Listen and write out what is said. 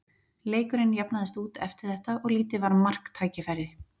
Leikurinn jafnaðist út eftir þetta og lítið var um marktækifæri.